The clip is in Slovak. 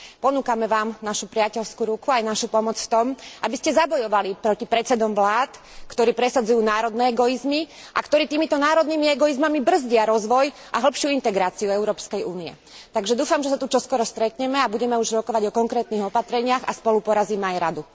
Ponúkame vám našu priateľskú ruku aj našu pomoc v tom, aby ste zabojovali proti predsedom vlád, ktorí presadzujú národné egoizmy a ktorí týmito národnými egoizmami brzdia rozvoj a hlbšiu integráciu Európskej únie. Takže dúfam, že sa tu čoskoro stretneme a budeme už rokovať o konkrétnych opatreniach a spolu porazíme aj Radu.